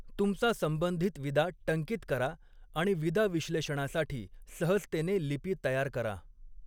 तुमचा संबंधित विदा टंकीत करा आणि विदा विश्लेषणासाठी सहजतेने लिपी तयार करा.